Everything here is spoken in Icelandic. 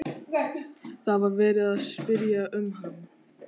Það var verið að spyrja um hann.